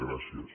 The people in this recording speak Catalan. gràcies